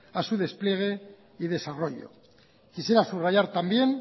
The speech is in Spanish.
a su despliegue y desarrollo quisiera subrayar también